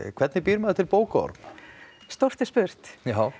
hvernig býr maður til bókaorm stórt er spurt